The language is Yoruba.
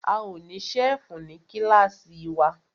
A ó ní ṣẹ́fù ní kílàsì wa.